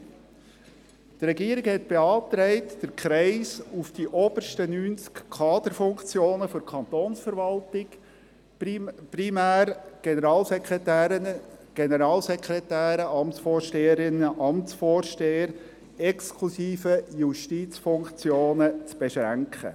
Die Regierung beantragte, den Kreis auf die obersten 90 Kaderfunktionen der Kantonsverwaltung, primär Generalsekretäre, Amtsvorsteherinnen, Amtsvorsteher sowie exklusive Justizfunktionen zu beschränken.